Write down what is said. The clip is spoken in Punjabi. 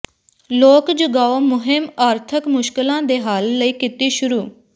ਲੋਕ ਜਗਾਓ ਮੁਹਿੰਮ ਆਰਥਕ ਮੁਸ਼ਕਲਾਂ ਦੇ ਹੱਲ ਲਈ ਕੀਤੀ ਸ਼ੁੁਰੂ